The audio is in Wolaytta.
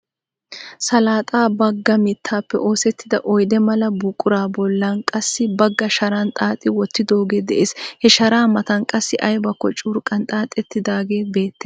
Salaxaa baggaa mittaappe osettida oyde mala buquraa bollan qassi baggaa sharan xaaxi wottidoogee de'ees. He sharaa matan qassi aybakko curqqan xaaxettidaagee beettees.